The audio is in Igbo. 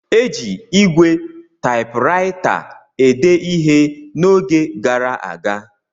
Eji ígwè Taịpuraịta ede ihe n’oge gara aga.